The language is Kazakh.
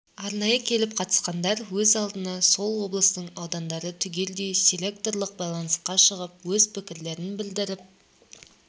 арнайы келіп қатысқандар өз алдына сол облыстың аудандары түгелдей селекторлық байланысқа шығып өз пікірлерін білдіріп